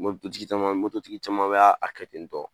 N ko tigi caman tigi caman bɛ a kɛ ten tɔn.